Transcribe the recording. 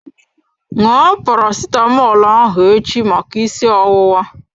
Ṅụọ Paracetamọl ahụ echi maka isi ọwụwa.